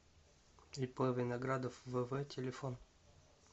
ип виноградов вв телефон